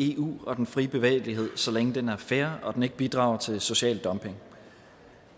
i eu og den frie bevægelighed så længe den er fair og den ikke bidrager til social dumping